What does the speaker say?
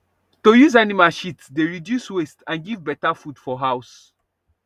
to use animal shit dey reduce waste and give better food for house